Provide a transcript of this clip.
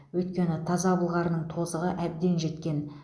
өйткені таза былғарының тозығы әбден жеткен